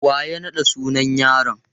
Wa ya naɗa sunan yaron?